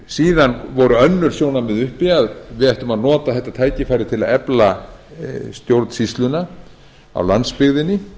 síðan voru önnur sjónarmið uppi að við ættum að nota þetta tækifæri til að efla stjórnsýsluna á landsbyggðinni